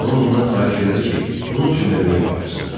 Lam ondan xahiş elədi ki, onun üçün də meyvə atsın.